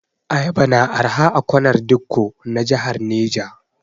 Ayaba na arha a kwanar dikko na jahar Neja.